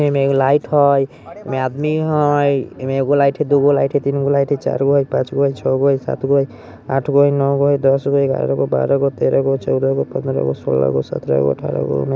इमे एगो लाइट हई इमे आदमी हई इमे एगो लाइट हई दो गो लाइट हई तीन गो लाइट हई चार गो लाइट हई पांच गो हई छेगो हई सात गो हई आठ गो हई नो गो हई दस गो हई ग्यारह गो बारह गो तेरह गो चौदह गो पंद्रह गो सोलह गो सत्रह गो अठारह गो उन्नी--